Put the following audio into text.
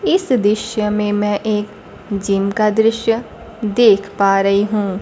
इस दृश्य में मैं एक जिम का दृश्य देख पा रही हूं।